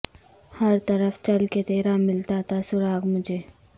ہر طرف چل کہ تیرا ملتا تھا سراغ مجھے